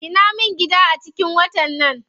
Gina min gida a cikin watan nan.